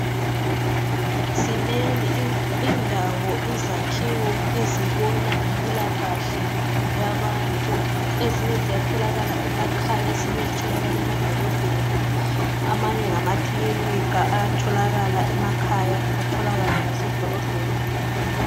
Zinengi indawo izakhiwo ezibona ngempilakahle yabantu ezinye ziyatholakala emakhaya ezinye zitholakale emadolobheni amanye ngamakilinika ayatholakala emakhaya atholakale lasemadolobheni.